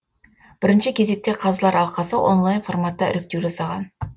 бірінші кезекте қазылар алқасы онлайн форматта іріктеу жасаған